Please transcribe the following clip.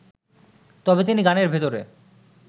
তবে তিনি গানের ভেতরে